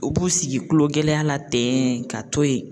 U b'u sigi kulogɛlɛya la ten ka to yen